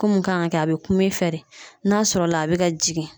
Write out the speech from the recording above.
Ko mun kan ka kɛ a be kun i fɛ de n'a sɔrɔ la a be ka jigin